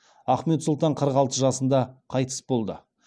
ахмет сұлтан қырық алты жасында қайтыс болды